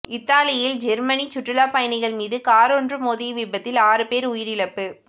இத்தாலியில் ஜேர்மனி சுற்றுலா பயணிகள் மீது காரொன்று மோதிய விபத்தில் ஆறு பேர் உயிரிழப்பு